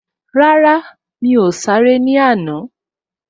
Rárá, mi ò sáré ní àná